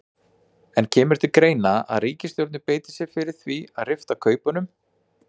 En kemur til greina að ríkisstjórnin beiti sér fyrir því að rifta kaupunum?